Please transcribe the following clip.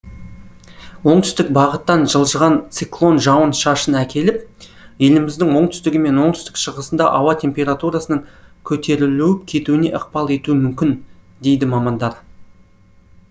оңтүстік бағыттан жылжыған циклон жауын шашын әкеліп еліміздің оңтүстігі мен оңтүстік шығысында ауа температурасының көтерілуіп кетуіне ықпал етуі мүмкін дейді мамандар